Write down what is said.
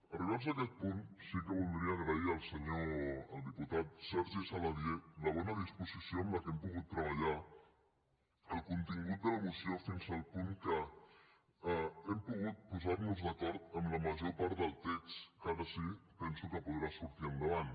arribats a aquest punt sí que voldria agrair al diputat sergi saladié la bona disposició amb què hem pogut treballar el contingut de la moció fins al punt que hem pogut posar nos d’acord amb la major part del text que ara sí penso que podrà sortir endavant